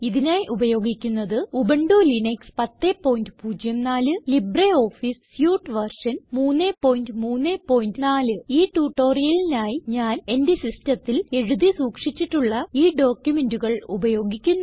ഇതിനായി ഉപയോഗിക്കുന്നത് Ubuntu Linux 1004 LibreOffice suite version 334 ഈ ട്യൂട്ടോറിയലിനായി ഞാൻ എന്റെ സിസ്റ്റത്തിൽ എഴുതി സൂക്ഷിച്ചിട്ടുള്ള ഈ ഡോക്യുമെന്റുകൾ ഉപയോഗിക്കുന്നു